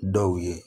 Dɔw ye